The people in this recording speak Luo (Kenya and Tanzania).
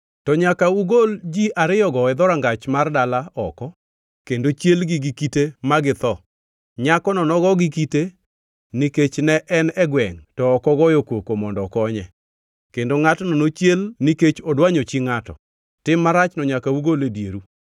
to nyaka ugol ji ariyogo e dhorangach mar dala oko kendo chielgi gi kite ma githo. Nyakono nogo gi kite nikech ne en e gwengʼ to ok ogoyo koko mondo okonye, kendo ngʼatno nochiel nikech odwanyo chi ngʼato. Tim marachno nyaka ugol e dieru.